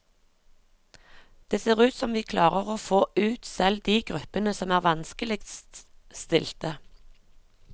Det ser ut som vi klarer å få ut selv de gruppene som er vanskeligst stilte.